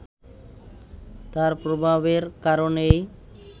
তার প্রভাবের কারণেই